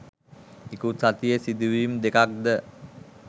ඉකුත් සතියේ සිදුවීම් දෙකක්ද